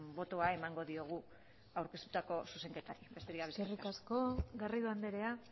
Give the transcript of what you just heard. botoa emango diegu aurkeztutako zuzenketari besterik gabe eskerrik asko garrido andrea